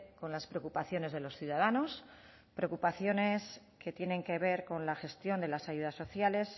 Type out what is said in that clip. con las preocupaciones de los ciudadanos preocupaciones que tienen que ver con la gestión de las ayudas sociales